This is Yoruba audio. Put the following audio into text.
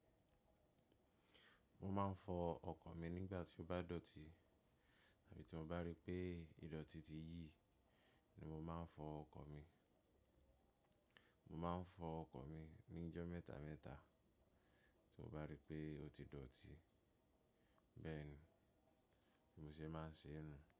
Mo máa ń fọ ọkọ̀ mi nígbà tí ó bá dọ̀tí àbí tí mo bá rí pé idọ̀tí ti yí ni mo máa ń fọ ọkọ̀ mi. Mo máa ń fọ ọkọ̀ mi ní ọjọ́ mẹ́ta mẹ́ta tí mo bá rí pé ó ti dọ̀tí bẹ́ẹ̀ ni mo ṣe máa ń ṣe ń nu.